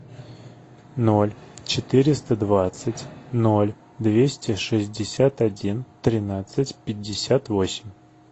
ноль четыреста двадцать ноль двести шестьдесят один тринадцать пятьдесят восемь